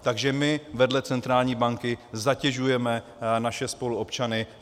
Takže my, vedle centrální banky, zatěžujeme naše spoluobčany.